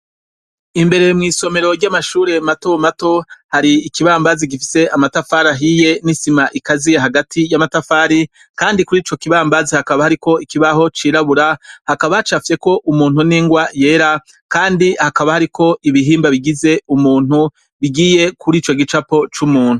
Imbere mw'isomero ry'amashure matomato, hari ikibambazi ifise amatafari ahiye n'isima ikaziye hagati y'amatafari Kandi kurico kibambazi, hakaba hariko ikibaho c'irabura, hakaba hacafyeko umuntu n'ingwa yera Kandi hakaba hariko ibihimba bigize umuntu bigiye kurico gicapo c'umuntu.